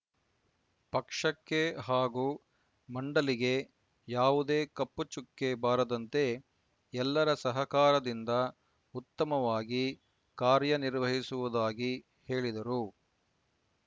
ಪಕ್ಷಕ್ಕೆ ಹಾಗೂ ಮಂಡಳಿಗೆ ಯಾವುದೇ ಕಪ್ಪುಚುಕ್ಕೆ ಬಾರದಂತೆ ಎಲ್ಲರ ಸಹಕಾರದಿಂದ ಉತ್ತಮವಾಗಿ ಕಾರ್ಯನಿರ್ವಹಿಸುವುದಾಗಿ ಹೇಳಿದರು